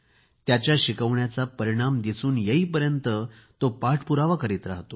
त्याच्या शिकवण्याचा परिणाम दिसून येईपर्यंत तो पाठपुरावा करीत राहतो